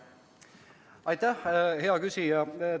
Aitäh, hea küsija!